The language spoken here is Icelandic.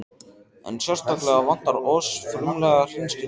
En sérstaklega vantar oss frumlega hreinskilni.